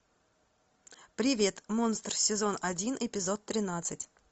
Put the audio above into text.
привет монстр сезон один эпизод тринадцать